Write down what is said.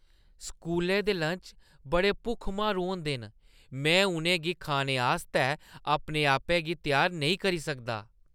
स्कूलै दे लंच बड़े भुक्ख-मारू होंदे न ; मैं उʼनें गी खाने आस्तै अपने आपै गी त्यार नेईं करी सकदा।